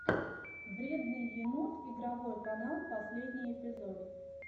вредный енот игровой канал последний эпизод